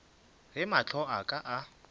ge mahlo a ka a